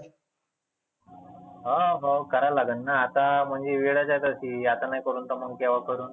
हा भाऊ करा लागेलना आता म्हणजे वेळच आहे तशी. आता नाही करु त मग तर केव्हा करण.